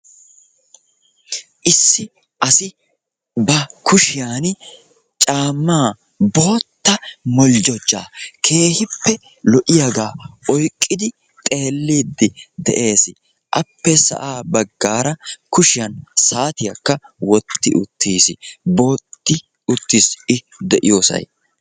issi assi ba kushiyanni caama bootta holjojaa keehipe lo"iyagga oyqidi xeelidi dessi ikka de"iyossay keehipe booxi uttisi.